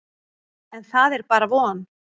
En það er bara von.